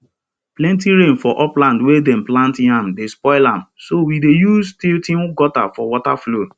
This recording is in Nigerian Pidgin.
plenty rain for upland wey dem plant yam dey spoil am so we dey use tilting gutter for water flow